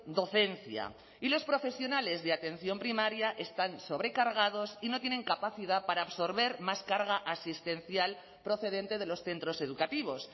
docencia y los profesionales de atención primaria están sobrecargados y no tienen capacidad para absorber más carga asistencial procedente de los centros educativos